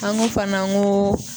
An ko fana ko